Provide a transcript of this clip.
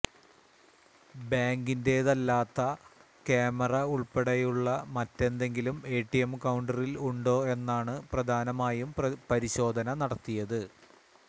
ബാങ്കിന്റേതല്ലാത്ത camera ഉള്പ്പെടെയുളള മറ്റെന്തെങ്കിലും ATM കൌണ്ടറില് ഉണ്ടോ എന്നാണ് പ്രധാനമായും പരിശോധന നടത്തിയത്